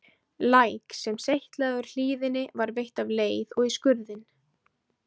Læk, sem seytlaði úr hlíðinni var veitt af leið og í skurðinn.